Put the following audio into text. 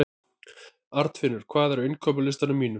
Arnfinnur, hvað er á innkaupalistanum mínum?